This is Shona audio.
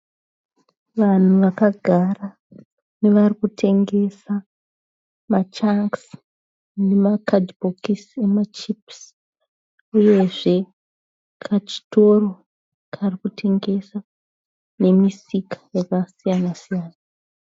Vanhu vakagara nevari kutengesa machangisi nemakadhibhokisi emachipisi. Uyezve kachitoro karikutengesa, nemisika yakasiyana-siyana.